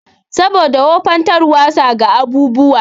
Saboda wufantarwasa ga abubuwa.